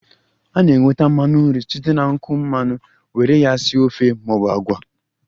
A ga-enweta mmanu nru site na nkwụ mmanụ were ya sie ofe maọbụ agwa